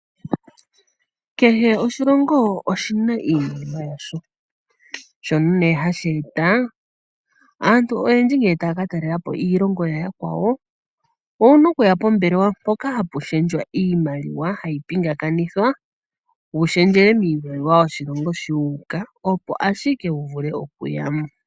Kehe oshilongo oshi na iimaliwa yasho shono nee hashi e ta ,aantu oyendji ngele taya ka talelepo iilongo ya yakwawo owuna okuya pombelewa mpoka hapu shendjwa iimaliwa hayi pingakanithwa wu shendjele miimaliwa yoshilongo sho wu uka opo ashike wu vule okuya mo.